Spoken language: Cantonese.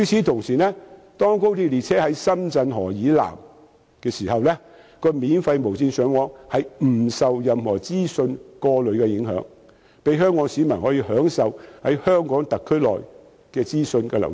同時，當高鐵列車駛至深圳河以南後，免費無線上網不會受任何資訊過濾的影響，讓香港市民可以在香港特區內享受資訊流通。